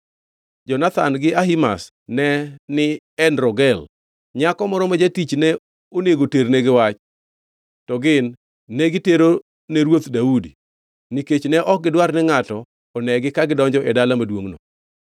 Jonathan gi Ahimaz ne ni En Rogel. Nyako moro ma jatich ne onego ternegi wach, to gin ne giterone ruoth Daudi nikech ne ok gidwar ni ngʼato onegi ka gidonjo e dala maduongʼno.